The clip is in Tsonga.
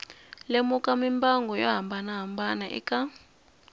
lemuka mimbangu yo hambanahambana eka